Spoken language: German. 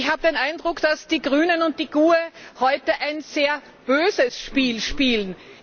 Ich habe den Eindruck, dass die Grünen und die GUE NGL heute ein sehr böses Spiel spielen.